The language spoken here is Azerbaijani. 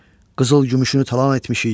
Qızıl-gümüşünü talan etmişik.